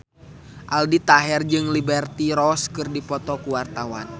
Aldi Taher jeung Liberty Ross keur dipoto ku wartawan